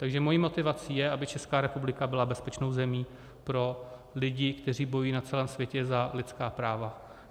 Takže mou motivací je, aby Česká republika byla bezpečnou zemí pro lidi, kteří bojují na celém světě za lidská práva.